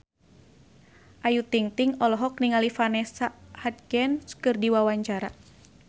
Ayu Ting-ting olohok ningali Vanessa Hudgens keur diwawancara